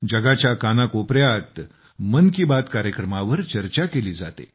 जगाच्या कानाकोपऱ्यात मन की बात कार्यक्रमावर चर्चा केली जाते